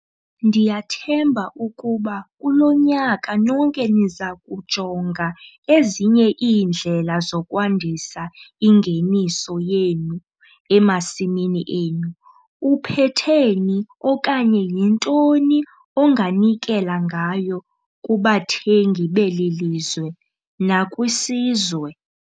Ndiyathemba ukuba kulo nyaka nonke niza kujonga ezinye iindlela zokwandisa ingeniso yenu emasimini enu. Uphethe ni, okanye yintoni onganikela ngayo kubathengi beli lizwe nakwisizwe?